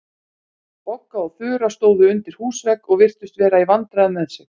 Bogga og Þura stóðu undir húsvegg og virtust vera í vandræðum með sig.